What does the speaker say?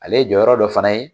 Ale ye jɔyɔrɔ dɔ fana ye